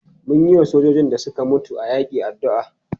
Mun yiwa sojojin da suka mutu a yaƙi addu'a.